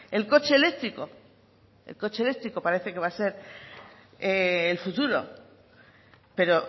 el coche eléctrico el coche eléctrico parece que va a ser el futuro pero